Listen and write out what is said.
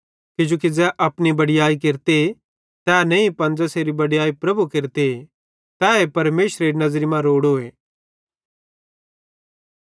किजोकि ज़ै अपनी बड़याई केरते तै नईं पन ज़ेसेरी बड़याई प्रभु केरते तैए परमेशरेरी नज़री मां रोड़ोए